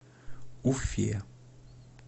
уфе